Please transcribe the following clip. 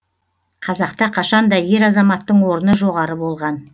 қазақта қашанда ер азаматтың орны жоғары болған